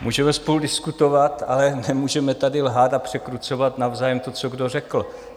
Můžeme spolu diskutovat, ale nemůžeme tady lhát a překrucovat navzájem to, co kdo řekl.